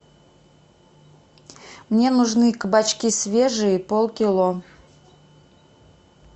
мне нужны кабачки свежие полкило